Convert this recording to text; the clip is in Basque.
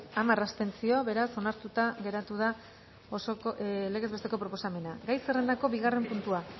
hamar abstentzio beraz onartuta geratu da legez besteko proposamena gai zerrendako bigarren puntua